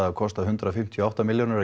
að kosta hundrað fimmtíu og átta milljónir